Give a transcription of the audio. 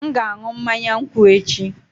M ga-aṅụ mmanya nkwụ echi